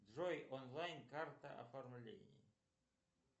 джой онлайн карта оформление